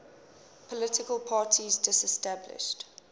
political parties disestablished